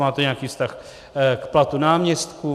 Má to nějaká vztah k platu náměstků?